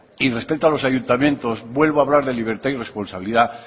y respecto a los ayuntamientos vuelvo hablar de libertad y responsabilidad